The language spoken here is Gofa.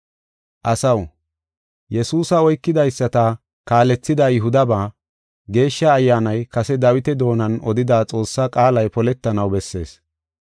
“Asaw, Yesuusa oykidaysata kaalethida Yihudaba, Geeshsha Ayyaanay kase Dawita doonan odida Xoossa qaalay poletanaw bessees.